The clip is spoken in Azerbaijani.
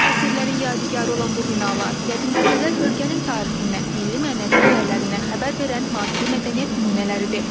Əsrlərin yadigarı olan bu binalar qədim küçələr bölgənin tarixindən, milli-mənəvi dəyərlərindən xəbər verən maddi mədəniyyət nümunələridir.